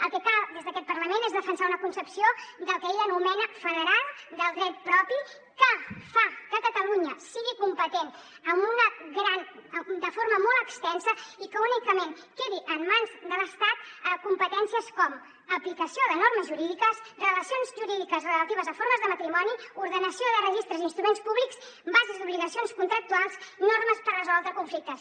el que cal des d’aquest parlament és defensar una concepció del que ell anomena federal del dret propi que fa que catalunya sigui competent de forma molt extensa i que únicament quedin en mans de l’estat competències com aplicació de normes jurídiques relacions jurídiques relatives a formes de matrimoni ordenació de registres i instruments públics bases d’obligacions contractuals i normes per resoldre conflictes